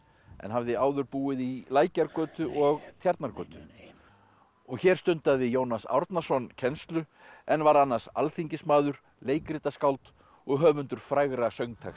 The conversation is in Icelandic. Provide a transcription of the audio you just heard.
en hafði áður búið í Lækjargötu og Tjarnargötu og hér stundaði Jónas Árnason kennslu en var annars alþingismaður leikritaskáld og höfundur frægra söngtexta